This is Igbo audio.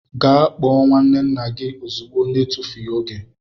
Gee kpoo nwanne nna gi ozigbo na etufughi oge!!!